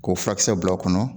K'o furakisɛ bila o kɔnɔ